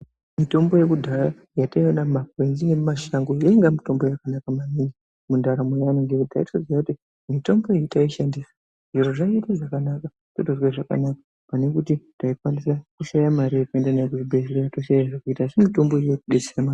Mitombo yekudhaya yataiona mumakwenzi nemumashango yainga mitombo yakanaka maningi mundaramo yeana ngekuti taitoziya kuti mitombo iyi taishandisa zviro zvaite zvakanaka. Totozwe zvakanaka pane kuti taikwanisa kushaya mare yekuenda nayo kuzvibhehlera toshaya zvekuita asi mitombo iyi inotidetsera maningi.